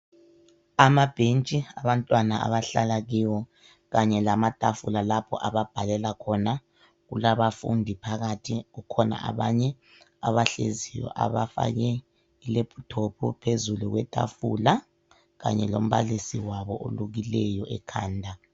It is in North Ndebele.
Amabhentshi abantwana abahlala kiwo kanye lamatafula lapha ababhalela khona kulabafundi phakathi kukhona abanye ahleziyo abafake ilaptop phezulu kwetafula kanye lombalisi wabo olukileyo ekhanda.